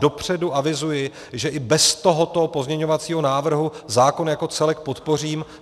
Dopředu avizuji, že i bez tohoto pozměňovacího návrhu zákon jako celek podpořím.